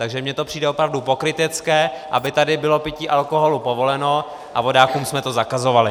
Takže mně to přijde opravdu pokrytecké, aby tady bylo pití alkoholu povoleno a vodákům bychom to zakazovali.